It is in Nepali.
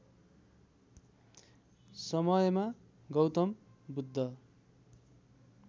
समयमा गौतम बुद्ध